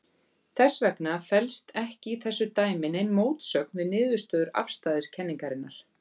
Þess vegna felst ekki í þessu dæmi nein mótsögn við niðurstöður afstæðiskenningarinnar.